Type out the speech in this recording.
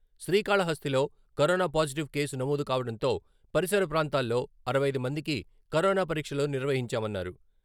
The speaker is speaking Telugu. శ్రీకాళహస్తిలో కరోనా పాజిటివ్ కేసు నమోదు కావడంతో పరిసర ప్రాంతాల్లో అరవై ఐదు మందికి కరోనా పరీక్షలు నిర్వహించామన్నారు.